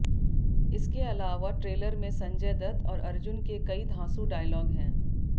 इसके अलावा ट्रेलर में संजय दत्त और अर्जुन के कई धांसू डायलॉग हैं